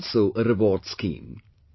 There was also a reward scheme